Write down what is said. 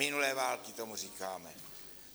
Minulé války tomu říkáme.